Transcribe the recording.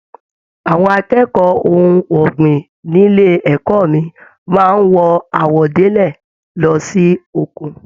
Àwọn akẹ́kọ̀ọ́ ohùn ọgbin nílé ẹ̀kọ́ mí máa n wọ àwọ̀délẹ̀ lọ sí oko.